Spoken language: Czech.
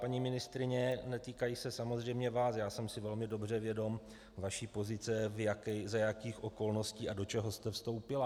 Paní ministryně, netýkají se samozřejmě vás, já jsem si velmi dobře vědom vaší pozice, za jakých okolností a do čeho jste vstoupila.